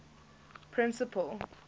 principal